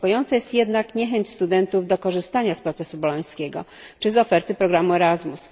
Niepokojąca jest jednak niechęć studentów do korzystania z procesu bolońskiego czy z oferty programu Erasmus.